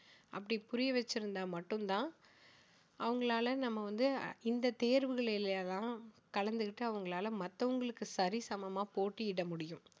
அப்படி புரிய வச்சிருந்தா மட்டும் தான் அவங்களால நம்ம வந்து இந்த தேர்வுகளில் எல்லாம் கலந்துக்கிட்டு அவங்களால மத்தவங்களுக்கு சரி சமமா போட்டியிட முடியும்